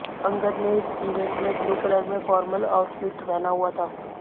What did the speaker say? अंगद ने इस इवेंट में ब्लू कलर में फॉर्मल आउटफिट पहना हुआ था